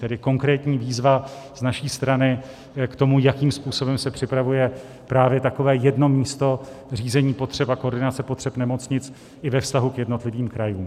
Tedy konkrétní výzva z naší strany k tomu, jakým způsobem se připravuje právě takové jedno místo řízení potřeb a koordinace potřeb nemocnic i ve vztahu k jednotlivým krajům.